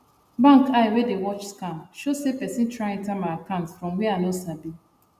bank eye wey the watch scam show say person try enter my account from where i no sabi